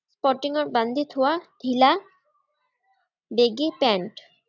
কটিঙত বান্ধি থোৱা ধিলা বেগী পেন্ট।